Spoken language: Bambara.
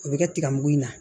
O bɛ kɛ tigamugu in na